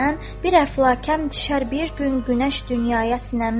Bir əflakəm düşər bir gün günəş dünyaya sinəmdən.